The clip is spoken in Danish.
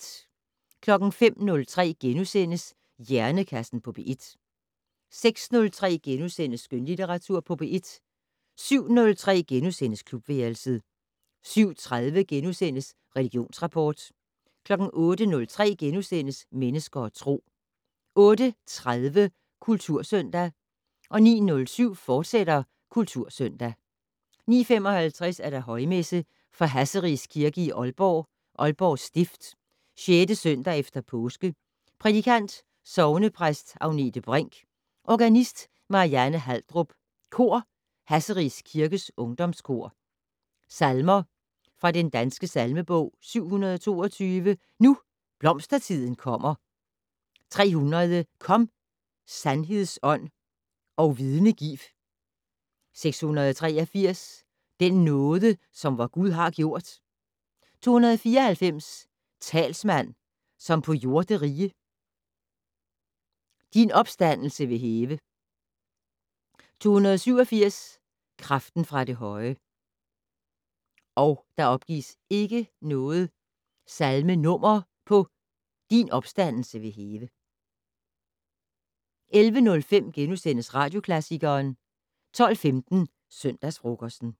05:03: Hjernekassen på P1 * 06:03: Skønlitteratur på P1 * 07:03: Klubværelset * 07:30: Religionsrapport * 08:03: Mennesker og Tro * 08:30: Kultursøndag 09:07: Kultursøndag, fortsat 09:55: Højmesse - Fra Hasseris Kirke i Aalborg, Aalborg Stift. 6. søndag efter påske. Prædikant: Sognepræst Agnete Brink. Organist: Marianne Haldrup. Kor: Hasseris Kirkes Ungdomskor. Salmer fra Den Danske Salmebog: 722 "Nu blomstertiden kommer". 300 "Kom, sandheds Ånd, og vidne giv". 683 "Den nåde, som vor Gud har gjort". 294 "Talsmand, som på jorderige". "Din opstandelse vil hæve". 287 "Kraften fra det høje". 11:05: Radioklassikeren * 12:15: Søndagsfrokosten